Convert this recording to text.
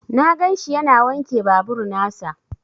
Na ganshi yana wanke babur nasa.